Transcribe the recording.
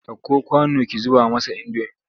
Ɗauko kwano ki zuba masa indomi!